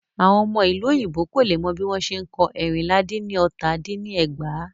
Àwọn ọmọ ìlú òyìnbó kò lè mọ bí wọ́n ṣe n kọ ẹ́rìnlá dín ní ọta dín ní ẹgbàá.